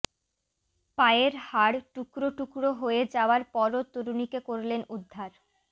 পায়ের হাড় টুকরো টুকরো হয়ে যাওয়ার পরও তরুণীকে করলেন উদ্ধার